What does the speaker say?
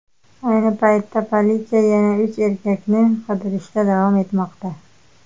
Ayni paytda politsiya yana uch erkakni qidirishda davom etmoqda.